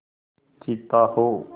चीता हो